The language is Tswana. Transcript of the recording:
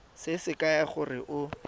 se se kaya gore o